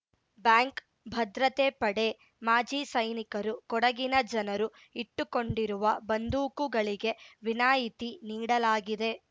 bank ಭದ್ರತೆ ಪಡೆ ಮಾಜಿ ಸೈನಿಕರು ಕೊಡಗಿನ ಜನರು ಇಟ್ಟುಕೊಂಡಿರುವ ಬಂದೂಕುಗಳಿಗೆ ವಿನಾಯಿತಿ ನೀಡಲಾಗಿದೆ